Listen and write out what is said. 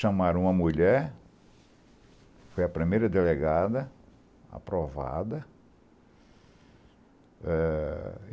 Chamaram uma mulher, foi a primeira delegada aprovada. Eh